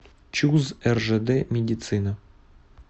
чуз ржд медицина